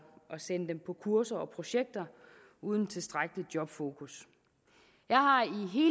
at sende dem på kurser og projekter uden tilstrækkelig jobfokus jeg har